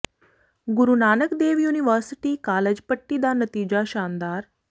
ਗੁਰੂ Nanak Dev university college Patti ਦਾ ਨਤੀਜਾ ਸ਼ਾਨਦਾਰ